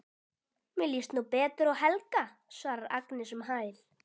Mér líst nú betur á Helga, svarar Agnes um hæl.